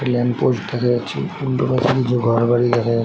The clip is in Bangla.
একটি ল্যাম্প পোস্ট দেখা যাচ্ছে । উল্টো ঘর বাড়ি দেখা যাচ--